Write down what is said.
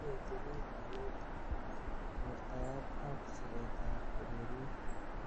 Kinetibich kanetik. wortaet ak siret ab ureriet.